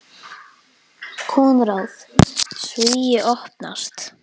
Konráð: Svíi opnast.